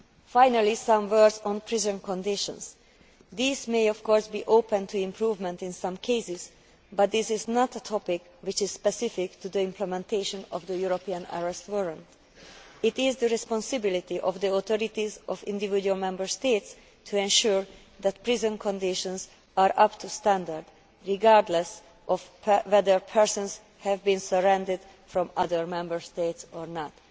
Finally, regarding prison conditions, these may, of course, be open to improvement in some cases, but this is not a topic which is specific to the implementation of the European Arrest Warrant. It is the responsibility of the authorities of individual Member States to ensure that prison conditions are up to standard, regardless of whether persons have been surrendered from other Member States or not.